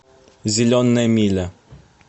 зеленая миля